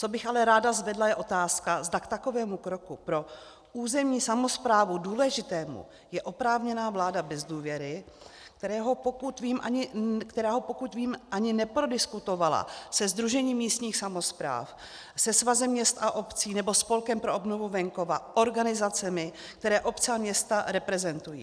Co bych ale ráda zvedla, je otázka, zda k takovému kroku pro územní samosprávu důležitému je oprávněná vláda bez důvěry, která ho, pokud vím, ani neprodiskutovala se Sdružením místních samospráv, se Svazem měst a obcí nebo Spolkem pro obnovu venkova, organizacemi, které obce a města reprezentují.